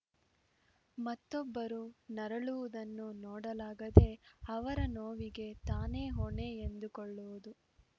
ಮತ್ತೊಬ್ಬರು ನರಳುವುದನ್ನು ನೋಡಲಾಗದೆ ಅವರ ನೋವಿಗೆ ತಾನೇ ಹೊಣೆ ಎಂದುಕೊಳ್ಳುವುದು